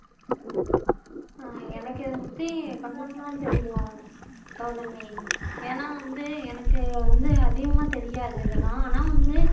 ஆஹ் எனக்கு இத பத்தி கொஞ்சம் தான் தெரியும் கவுதமி ஏன்னா வந்து எனக்கு வந்து அதிகமா தெரியாது இதல்லாம் ஆனா வந்து